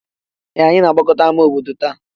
Ee! Anyị na-agbakọta n'ámá obodo taa.